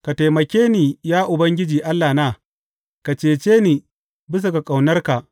Ka taimake ni, ya Ubangiji Allahna; ka cece ni bisa ga ƙaunarka.